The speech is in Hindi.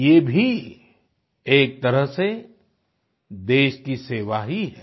ये भी एक तरह से देश की सेवा ही है